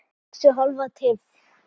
Sex er hálf tylft.